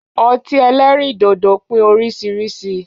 Ọtí ẹlẹ́rìndòdò pé oríṣiríṣi